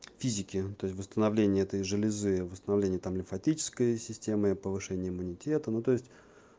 физики ну то есть восстановление этой железы восстановление там лимфатической системы повышение иммунитета ну то есть